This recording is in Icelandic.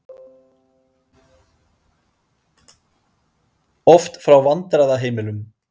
Oft frá vandræðaheimilum.